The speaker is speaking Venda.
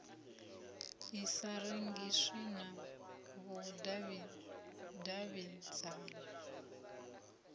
i sa rengiswi na vhudavhidzano